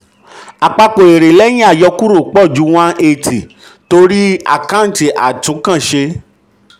6. àpapọ̀ èrè lẹ́yìn àyọkúrò pọ̀ ju one hundred and eighty torí àkáǹtì ìtúnǹkanṣe.